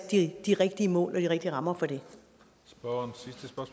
de rigtige mål og de rigtige rammer